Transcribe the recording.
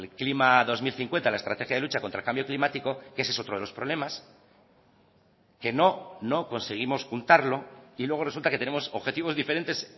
clima dos mil cincuenta la estrategia de lucha contra el cambio climático que ese es otro de los problemas que no no conseguimos juntarlo y luego resulta que tenemos objetivos diferentes